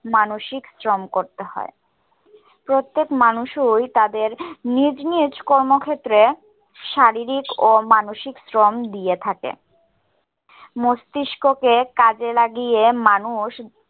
মানসিক শ্রম করতে হয়। প্রত্যেক মানুষই তাদের নিজ নিজ কর্মক্ষেত্রে শারীরিক ও মানসিক শ্রম দিয়ে থাকে। মস্তিষ্ককে কাজে লাগিয়ে মানুষ